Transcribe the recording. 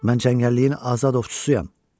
Mən cəngəlliyin azad ovçusuyam.